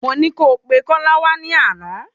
Mọ ní kó pẹ Kola wá ní àná